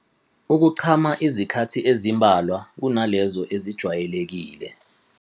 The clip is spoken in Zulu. Ukuchama izikhathi ezimbalwa kunalezo ezijwayelekile.